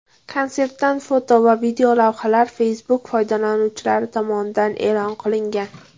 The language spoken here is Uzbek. Konsertdan foto va videolavhalar Facebook foydalanuvchilari tomonidan e’lon qilingan.